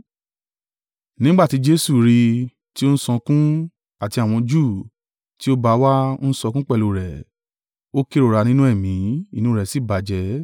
Nígbà tí Jesu rí i, tí ó ń sọkún, àti àwọn Júù tí ó bá a wá ń sọkún pẹ̀lú rẹ̀, ó kérora nínú ẹ̀mí, inú rẹ̀ sì bàjẹ́.